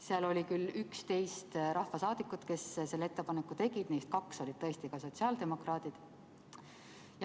Seal oli11 rahvasaadikut, kes selle ettepaneku tegid, neist kaks olid tõesti ka sotsiaaldemokraadid.